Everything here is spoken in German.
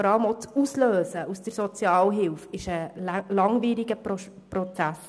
Vor allem ist die Ablösung aus der Sozialhilfe ist ein langwieriger Prozess.